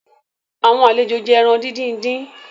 Àwọn àlejó jé èràn dín dín.